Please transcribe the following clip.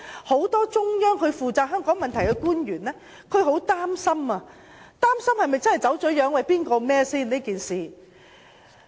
很多負責香港問題的中央官員都很擔心《基本法》的實踐是否真的走了樣。